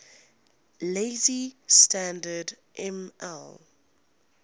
lazy standard ml